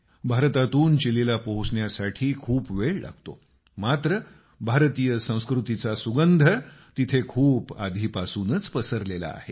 भारतातून चिलीला पोहोचण्यासाठी खूप वेळ लागतो मात्र भारतीय संस्कृतीचा सुगंध तिथे खूप आधीपासूनच पसरलेला आहे